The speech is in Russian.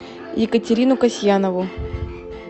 екатерину касьянову